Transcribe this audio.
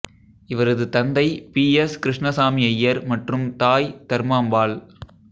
இவரது தந்தை P S Krishnaswamy Iyer மற்றும் தாய் தர்மாம்பாள்